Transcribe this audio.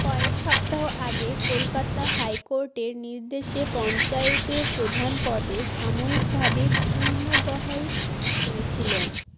কয়েক সপ্তাহ আগে কলকাতা হাইকোর্টের নির্দেশে পঞ্চায়েতের প্রধান পদে সাময়িক ভাবে পুনর্বহাল হয়েছিলেন